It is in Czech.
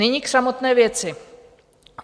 Nyní k samotné věci.